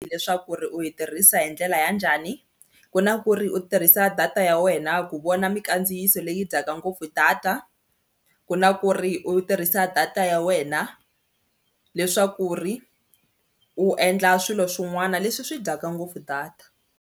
Leswaku ri u yi tirhisa hi ndlela ya njhani ku na ku ri u tirhisa data ya wena ku vona mikandziyiso leyi dyaka ngopfu data ku na ku ri u tirhisa data ya wena leswaku ri u endla swilo swin'wana leswi swi dyaka ngopfu data.